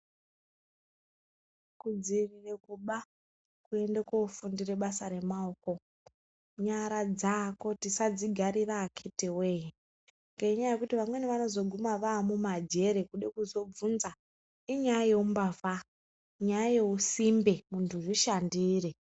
Kudziirire kuba kuende koofundire basa remaoko. Nyara dzako, tisadzigarira akithi woye, ngenyanya yekuti amweni anozoguma amumajere, kude kuzobvunza, inyaya yeumbavha, nyaya yeusimbe, munhu zvishandire.